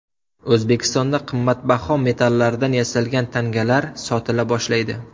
O‘zbekistonda qimmatbaho metallardan yasalgan tangalar sotila boshlaydi.